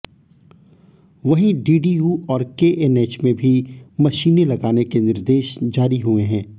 वहीं डीडीयू और केएनएच में भी मशीनें लगाने के निर्देश जारी हुए हैं